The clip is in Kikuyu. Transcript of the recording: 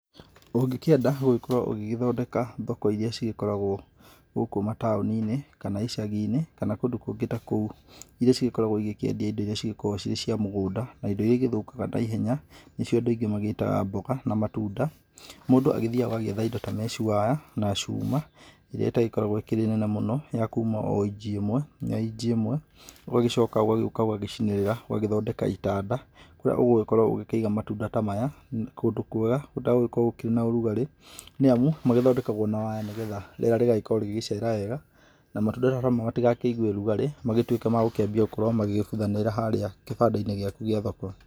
Ũngĩkĩenda gũgĩkorwo ũgĩkĩthondeka thoko iria cigĩkoragwa gũkũ mataũninĩ, kana icaginĩ, kana kũndũ kũngĩ ta kũu, iria cikoragwa cigĩkĩendia indo iria ciri cia mũgũnda na ingĩ nĩithũkaga na ihenya nĩcio andũ maingĩ magĩgĩtaga mboga, na matunda, mũndũ agĩthiaga agakĩetha meshwire na cuma ĩrĩa ĩtagĩkoragwo ĩnene mũno ya kuuma inji ĩmwe nginya inji ĩmwe ũgagĩcoka ũgoka ũgacinĩrĩa, ũgagĩthondeka itanda kũrĩa ũgũkorwa ũkĩiga matunda ta maya ,kũndũ kwega gũtagũkorwo kwĩna ũrugarĩ nĩamu magĩthondekagwa na waya nĩgetha rĩera rĩgagĩkorwo rĩgĩcera wega na matunda matigakĩigwe ũrugarĩ magĩtuĩke magũkĩambia magĩbuthagĩra harĩa kĩbandainĩ gĩaku kĩa thoko.